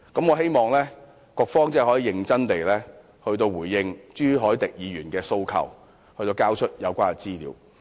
我希望局方可以認真回應朱凱廸議員的訴求，交出有關資料。